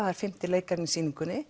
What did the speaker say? er fimmti leikarinn í sýningunni